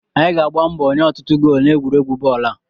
Anyị ga-agba mbọ ịnye ọtụtụ goolu n'egwuregwu bọọlụ a